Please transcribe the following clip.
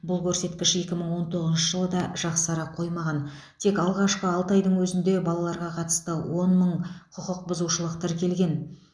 бұл көрсеткіш екі мың он тоғызыншы жылы да жақсара қоймаған тек алғашқы алты айдың өзінде балаларға қатысты он мың құқықбұзушылық тіркелген